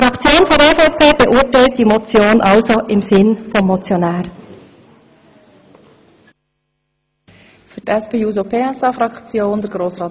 Die EVP-Fraktion beurteilt also die Motion im Sinne des Motionärs.